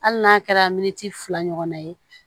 Hali n'a kɛra miniti fila ɲɔgɔnna ye